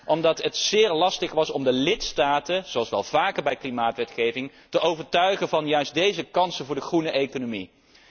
deal is gekomen omdat het zeer lastig was om de lidstaten zoals wel vaker bij klimaatwetgeving te overtuigen van deze kansen voor de groene